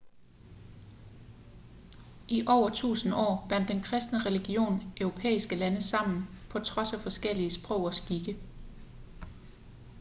i over tusinde år bandt den kristne religion europæiske lande sammen på trods af forskellige sprog og skikke